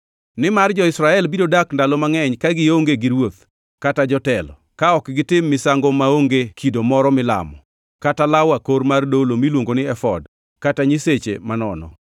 Nimar jo-Israel biro dak ndalo mangʼeny ka gionge gi ruoth kata jotelo, ka ok gitim misango maonge kido moro milamo, kata law akor mar dolo miluongo ni efod kata nyiseche manono.